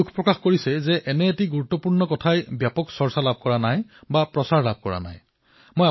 আপুনি দুখো প্ৰকাশ কৰিছে যে এনে এক গুৰুত্বপূৰ্ণ আয়োজনৰ কোনো চৰ্চা নাই প্ৰচাৰ নাই